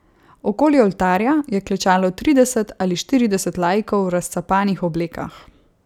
Okoli oltarja je klečalo trideset ali štirideset laikov v razcapanih oblekah.